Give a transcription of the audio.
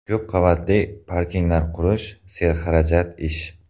Ko‘p qavatli parkinglar qurish – serxarajat ish.